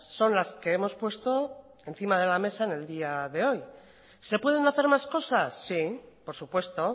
son las que hemos puesto encima de la mesa en el día de hoy se pueden hacer más cosas sí por supuesto